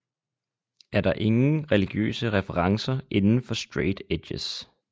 Er der ingen religiøse referencer indenfor straight edges